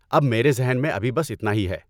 اب میرے ذہن میں ابھی بس اتنا ہی ہے۔